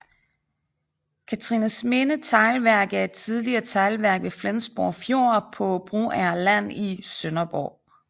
Cathrinesminde Teglværk er et tidligere teglværk ved Flensborg Fjord på Broager Land i Sønderborg